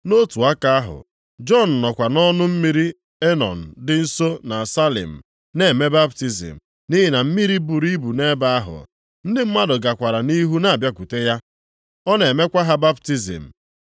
Nʼotu aka ahụ, Jọn nọkwa nʼọnụ mmiri Enọn dị nso na Salim na-eme baptizim nʼihi na mmiri buru ibu nʼebe ahụ, ndị mmadụ gakwara nʼihu na-abịakwute ya, ọ na-emekwa ha baptizim.